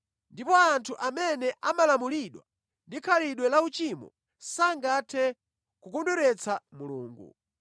Ndipo anthu amene amalamulidwa ndi khalidwe lauchimo sangathe kukondweretsa Mulungu.